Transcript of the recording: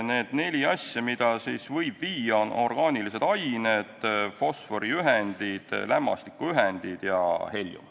Need neli asja, mida võib sinna viia, on orgaanilised ained, fosforiühendid, lämmastikuühendid ja heljum.